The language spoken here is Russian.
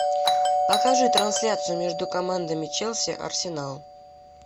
покажи трансляцию между командами челси арсенал